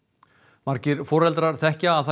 margir foreldrar þekkja það